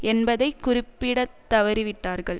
என்பதை குறிப்பிட தவறிவிட்டார்கள்